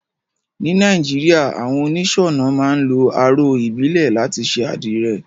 Ní Naijiria, àwon onísònà máa n lo aró ìbílè láti se àdìre